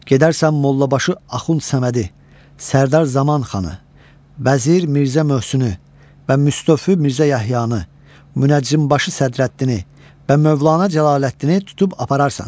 Gedərsən Mollabaşı Axund Səmədi, Sərdar Zaman xanı, Vəzir Mirzə Möhsünü və Müstofi Mirzə Yəhyanı, Münəccimbaşı Sədrəddini və Mövlana Cəlaləddini tutub apararsan.